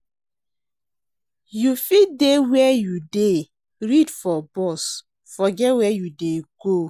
You fit dey where you dey read for bus forget where you dey go.